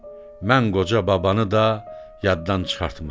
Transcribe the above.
Mən qoca babanı da yaddan çıxartma.